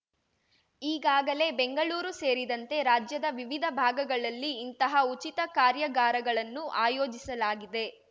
ಈಗಾಗಲೇ ಬೆಂಗಳೂರು ಸೇರಿದಂತೆ ರಾಜ್ಯದ ವಿವಿಧ ಭಾಗಗಳಲ್ಲಿ ಇಂತಹ ಉಚಿತ ಕಾರ್ಯಾಗಾರಗಳನ್ನು ಆಯೋಜಿಸಲಾಗಿದೆ